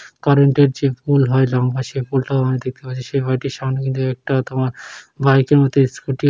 কারেন্টের যে পোল হয় লম্বা সে পোল টাও আমি দেখতে পাচ্ছি। সে বাড়িটির সামনে একটা তোমার বাইকের মত স্ক্যুটি ।